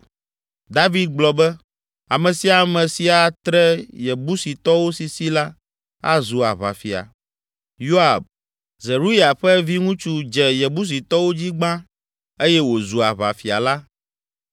David gblɔ be, “Ame sia ame si atre Yebusitɔwo sisi la, azu aʋafia.” Yoab, Zeruya ƒe viŋutsu dze Yebusitɔwo dzi gbã eye wòzu aʋafia la.